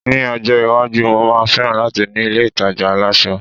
mi ọjọ iwaju, mo ma feran lati ni ilé ìtajà aláṣọ